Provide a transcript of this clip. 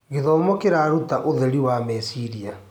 Gĩthomo kĩraruta ũtheri wa meciria.